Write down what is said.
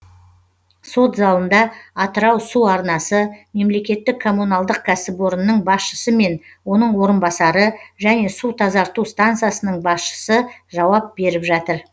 сот залында атырау су арнасы мемлекеттік коммуналдық кәсіпорнының басшысы мен оның орынбасары және су тазарту стансасының басшысы жауап беріп жатыр